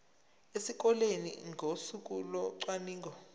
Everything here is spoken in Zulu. esikoleni ngosuku locwaningo